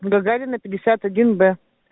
гагарина пятьдесят один б